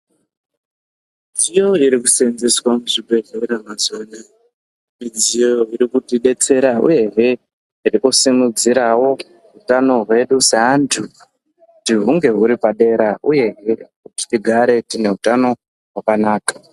Dziyo iri kusenzeswa muzvibhedhlera mazuwa anaya midziyo iri kuti detsera uyehe iri kusimudzirawo utano hwedu saantu kuti hunge huri padera uyehe kuti tigare tine hutano hwakanaka.